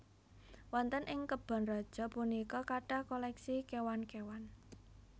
Wonten ing kebon raja punika kathah koleksi kéwan kéwan